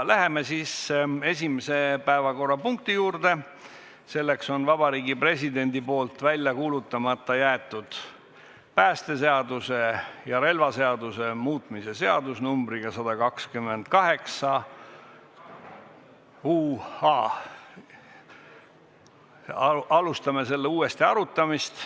Läheme siis esimese päevakorrapunkti juurde, selleks on Vabariigi Presidendi poolt välja kuulutamata jäetud päästeseaduse ja relvaseaduse muutmise seaduse uuesti arutamine.